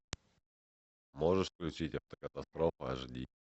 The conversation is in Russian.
можешь включить автокатастрофа аш ди